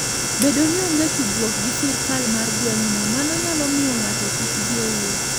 Bedo ni onge tudruok gi sirkal mar gweng'no, mano nyalo miyo ng'ato kik dhi e wuoth.